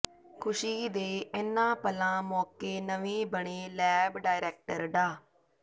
ਖੁਸ਼ੀ ਦੇ ਇਨ੍ਹਾਂ ਪਲਾਂ ਮੌਕੇ ਨਵੇਂ ਬਣੇ ਲੈਬ ਡਾਇਰੈਕਟਰ ਡਾ